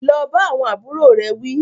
Lọ bá àwọn àbúrò rẹ̀ wí